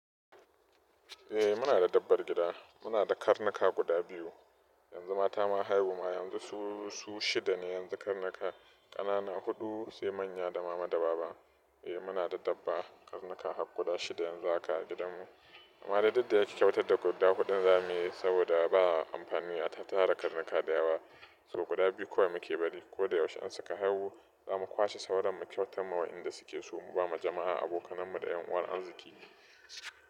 Eh muna da dabbar gida, muna da karnuka guda biyu, yanzu mata ma haihuwa yanzu su shida ne yanzu karnuka ƙanana huɗu sai manya da mama da baba. Eh muna da dabba karnuka guda shida yanzu haka a gidanmu amma dai duk da yayi kyautar da guda huɗu za mu yi saboda ba amfani a tattara karnuka da yawa, su guda biyu kawai muke bari ko da yaushe an saka haihu za mu kwashe sauran mu kyautar ma wa inda suke so, mu ba ma jama'a abokanmu da ƴan uwan arziƙi.